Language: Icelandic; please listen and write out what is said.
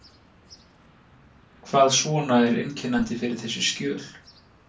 Hvað svona er einkennandi fyrir þessi skjöl?